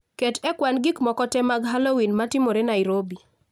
Ket e kwan gik moko tee mag Halloween amtimore Nairobi